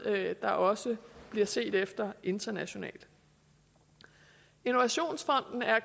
der også bliver set efter internationalt innovationsfonden er